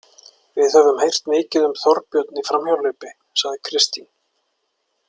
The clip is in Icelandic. Við höfum heyrt mikið um Þorbjörn í framhjáhlaupi, sagði Kristín.